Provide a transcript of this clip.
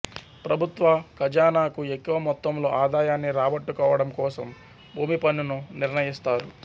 ప్రభుత్వ ఖజానాకు ఎక్కువ మొత్తంలో ఆదాయాన్ని రాబట్టుకోవడంకోసం భూమి పన్నును నిర్ణయిస్తారు